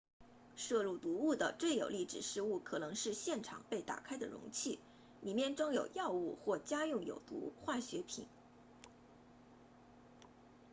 摄入毒物的最有力指示物可能是现场被打开的容器里面装有药物或家用有毒化学品